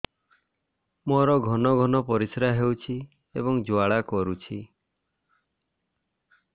ମୋର ଘନ ଘନ ପରିଶ୍ରା ହେଉଛି ଏବଂ ଜ୍ୱାଳା କରୁଛି